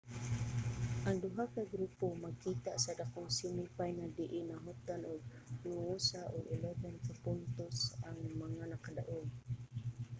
ang duha ka grupo magkita sa dakong semi final diin nahutdan sa noosa ug 11 ka puntos ang mga nakadaug